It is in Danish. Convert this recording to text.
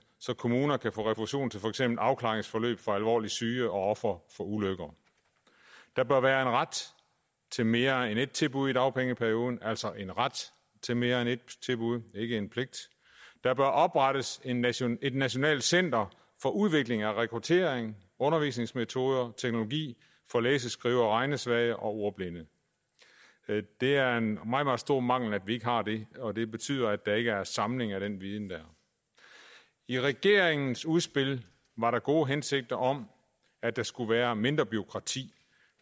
så kommuner kan få refusion til for eksempel afklaringsforløb for alvorligt syge og ofre for ulykker der bør være en ret til mere end ét tilbud i dagpengeperioden altså en ret til mere end ét tilbud ikke en pligt der bør oprettes et nationalt et nationalt center for udvikling af rekruttering undervisningsmetoder og teknologi for læse skrive og regnesvage og ordblinde det er en meget meget stor mangel at vi ikke har det og det betyder at der ikke er en samling af den viden i regeringens udspil var der gode hensigter om at der skulle være mindre bureaukrati